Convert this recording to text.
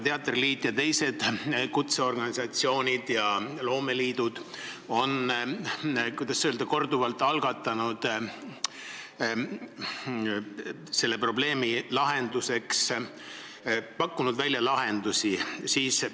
Teatriliit ja teised kutseorganisatsioonid, loomeliidud, on korduvalt selle probleemi lahendamiseks lahendusi välja pakkunud.